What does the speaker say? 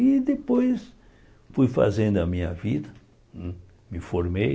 E depois fui fazendo a minha vida, me formei.